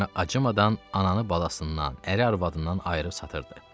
kimi acımadan ananı balasından, əri arvadından ayırıb satırdı.